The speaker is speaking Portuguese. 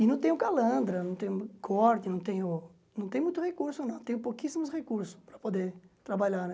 E não tenho calandra, não tenho corte, não tenho não tenho muito recurso não, tenho pouquíssimos recursos para poder trabalhar né.